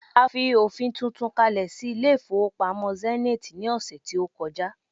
a fi ofin tuntun kale sí ilé ifowópamọ́ Zenith ni ọsẹ ti o koja